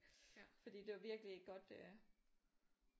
Fordi det var virkelig ikke godt øh